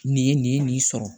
Nin ye nin ye nin sɔrɔ